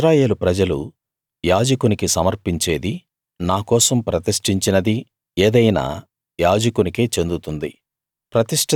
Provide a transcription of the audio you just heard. ఇశ్రాయేలు ప్రజలు యాజకునికి సమర్పించేదీ నా కోసం ప్రతిష్టించినదీ ఏదైనా యాజకునికే చెందుతుంది